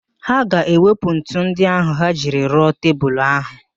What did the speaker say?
Ha ga-ewepụ ntu ndị ahụ ha jiri rụọ tebulu ahụ